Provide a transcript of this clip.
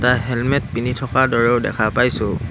এটা হেলমেট পিন্ধি থকা দৰেও দেখা পাইছোঁ।